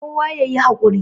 kowa ya yi hakuri